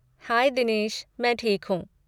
हाय दिनेश! मैं ठीक हूँ।